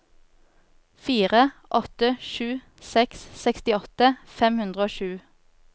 fire åtte sju seks sekstiåtte fem hundre og sju